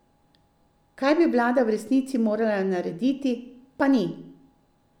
Kaj bi vlada v resnici morala narediti, pa ni?